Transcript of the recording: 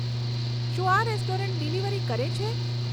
શું આ restaurant delivery કરે છે